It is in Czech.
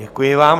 Děkuji vám.